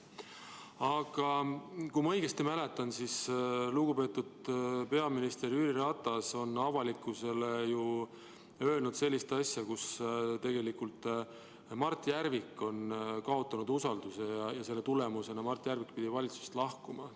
Aga kui ma õigesti mäletan, siis lugupeetud peaminister Jüri Ratas on avalikkusele öelnud sellist asja, et Mart Järvik on kaotanud usalduse, ja selle tõttu pidi Mart Järvik valitsusest lahkuma.